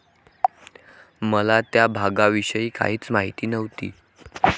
मला त्या भागाविषयी काहीच माहिती नव्हती.